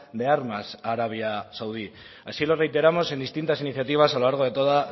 de armas a arabia saudí así lo reiteramos en distintas iniciativas a lo largo de toda